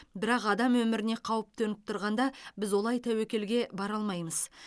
бірақ адам өміріне қауіп төніп тұрғанда біз олай тәуекелге бара алмаймыз